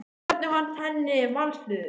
En hvernig fannst henni Vals liðið?